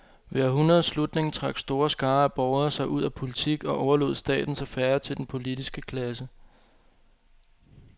Ved århundredets slutning trak store skarer af borgere sig ud af politik og overlod statens affærer til den politiske klasse.